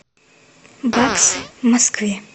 баксы в москве